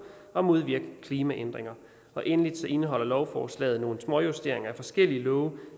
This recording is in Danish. at modvirke klimaændringer og endelig indeholder lovforslaget nogle småjusteringer af forskellige love